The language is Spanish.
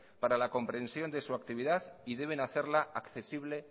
para la comprensión de su actividad y deben hacerla accesible